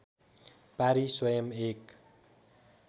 पारी स्वयम् एक